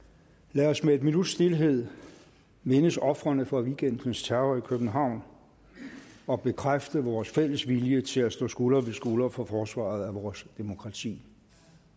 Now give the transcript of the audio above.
lad os med en minuts stilhed mindes ofrene for weekendens terror i københavn og bekræfte vores fælles vilje til at stå skulder ved skulder for forsvaret af vores demokrati